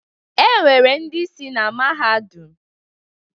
Enwere ndị isi na mahadum